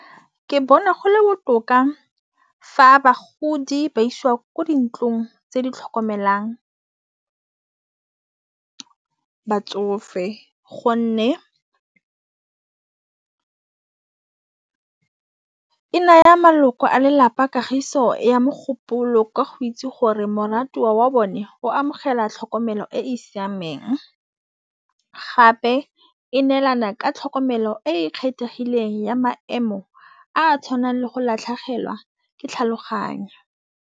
Ke bona go le botoka fa bagodi ba iswa ko dintlong tse di tlhokomelang, batsofe gonne e naya maloko a lelapa kagiso ya mogopolo kwa go itse gore moratiwa wa bone o amogela tlhokomelo e e siameng. Gape e neelana ka tlhokomelo e kgethegileng ya maemo a tshwanang le go latlhegelwa ke tlhaloganyo.